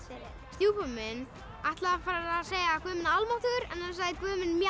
stjúpi minn ætlaði að fara að segja guð minn almáttugur en sagði guð minn